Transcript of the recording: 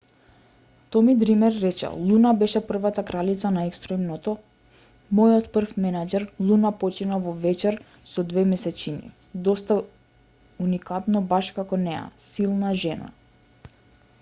томи дример рече луна беше првата кралица на екстремното мојот прв менаџер луна почина во вечер со две месечини доста уникатно баш како неа силна жена